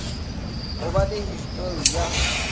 go ba le histori ya